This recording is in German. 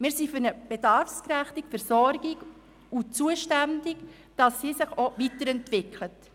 Wir sind für eine bedarfsgerechte Versorgung, die sich weiterentwickelt.